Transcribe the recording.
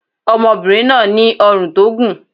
Ọmọbìnrin náà ní ọrùn tó gùn.